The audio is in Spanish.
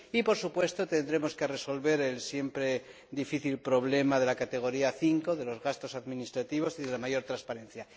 y, por supuesto, tendremos que resolver el siempre difícil problema de la categoría 5 de los gastos administrativos y de la mayor transparencia.